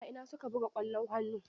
A ina su ka buga ƙwallon hannu?